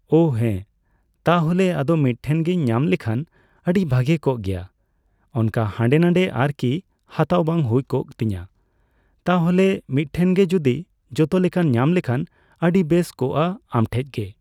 ᱚ ᱦᱮᱸ ᱛᱟᱦᱞᱮ ᱟᱫᱚ ᱢᱤᱫᱴᱷᱮᱱ ᱜᱮᱧ ᱧᱟᱢ ᱞᱮᱠᱷᱟᱱ ᱟᱹᱰᱤ ᱵᱷᱟᱜᱮ ᱠᱚᱜ ᱜᱮᱭᱟ ᱾ ᱚᱱᱠᱟ ᱦᱟᱸᱰᱮᱼᱱᱟᱸᱰᱮ ᱟᱨᱠᱤ ᱦᱟᱛᱟᱣ ᱵᱟᱝ ᱦᱩᱭ ᱠᱚᱜ ᱛᱤᱧᱟᱹ ᱛᱟᱦᱚᱞᱮ ᱾ᱢᱤᱫᱴᱷᱮᱱ ᱜᱮ ᱡᱩᱫᱤ ᱡᱚᱛᱚ ᱞᱮᱠᱟᱱ ᱧᱟᱢ ᱞᱮᱠᱷᱟᱱ ᱟᱹᱰᱤ ᱵᱮᱥ ᱠᱚᱜᱼᱟ ᱾ᱟᱢᱴᱷᱮᱡ ᱜᱮ